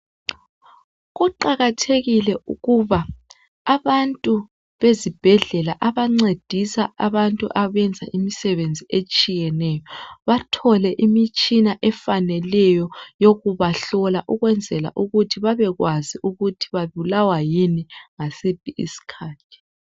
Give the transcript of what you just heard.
kuqakathekile ukuba abantu bezibhedlela abancedisa abantu abenza imisebenzi etshiyeneyo bathole imitshina efaneleyo yokubahlola ukwenzela ukuthi babekwazi ukuthi babulawa yini ngasiphi isikhathi